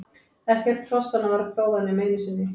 Ekkert hrossanna var prófað nema einu sinni.